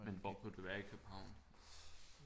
Men hvor kunne det være i København